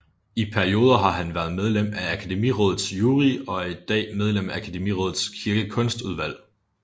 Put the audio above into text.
I perioder har han været medlem af Akademirådets jury og er i dag medlem af Akademirådets kirkekunstudvalg